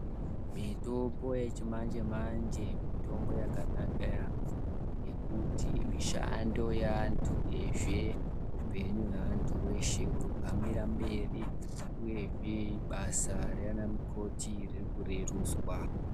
Mitombo yechimanje manje yakanaka maningi ngekuti mishando yevanhu veshe upenyu hwevanhu veshe hunohambira mberi uye zve basa raana mukoti ririkuretuswa.